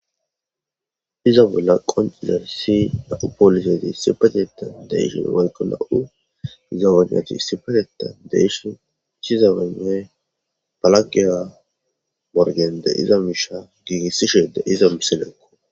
Iza bolla qoncizer si na'u poolisezi sipateta deyshin walqo na'u zawanati sipateta deyshin cshizabene palakiya morgende iza miisha giigissi sheede iza miselekko.